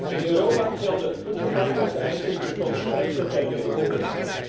In Europa gelden voedselveiligheidseisen die tot de strengste ter wereld behoren.